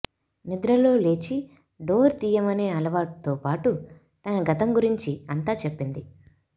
నిద్రలో లేచి డోర్ తీయమనే అలవాటు తో పాటు తన గతం గురించి అంతా చెప్పింది